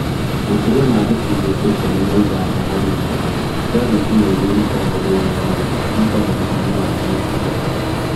Makĩria ma gĩcunjĩ kĩa ikumi na ithano hari igana kĩa thitima ĩrĩa ĩrutagwo thĩinĩ wa thĩ, ĩrutagwo na hinya wa nyuklia.